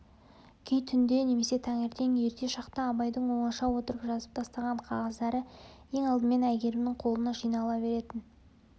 кей түнде немесе таңертең ерте шақта абайдың оңаша отырып жазып тастаған қағаздары ең алдымен әйгерімнің қолына жинала беретін